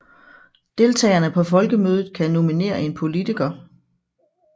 Deltagerne på Folkemødet kan nominere en politiker